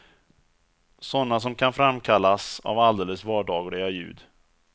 Sådana som kan framkallas av alldeles vardagliga ljud.